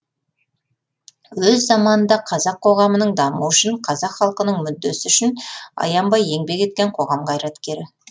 өз заманында қазақ қоғамының дамуы үшін қазақ халқының мүддесі үшін аянбай еңбек еткен коғам қайраткері